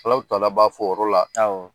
Alahutala b'a fɔ o yɔrɔ la,